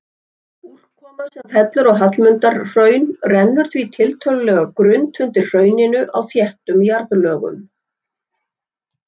Úrkoma sem fellur á Hallmundarhraun rennur því tiltölulega grunnt undir hrauninu á þéttum jarðlögum.